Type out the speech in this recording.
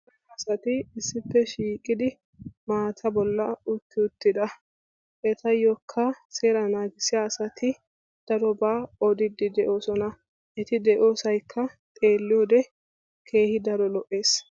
Asati isssippe shiiqidi maata bollan utti uttida etayyokka seeraa naagissiya asati darobaa odiiddi de'oosona. Eti de'iyosaykka xeelliyode keehi daro lo'es.